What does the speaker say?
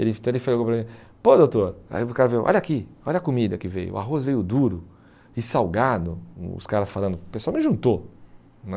Ele então ele falou para mim, pô doutor, olha aqui, olha a comida que veio, o arroz veio duro e salgado, o os caras falando, o pessoal me juntou, né?